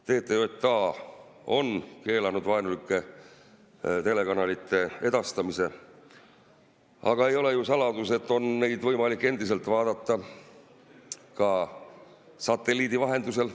TTJA on keelanud vaenulike telekanalite edastamise, aga ei ole ju saladus, et neid on võimalik endiselt vaadata ka satelliidi vahendusel.